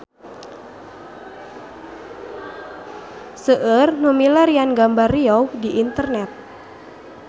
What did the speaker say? Seueur nu milarian gambar Riau di internet